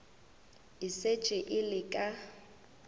e šetše e le ka